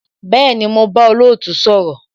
Bẹẹni, mo bá olootu sọ̀rọ̀